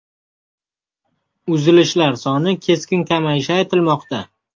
Uzilishlar soni keskin kamayishi aytilmoqda.